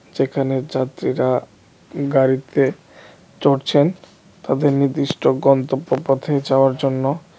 যেখানে যাত্রীরা গাড়িতে চড়ছেন তাদের নির্দিষ্ট গন্তব্যপথে যাওয়ার জন্য .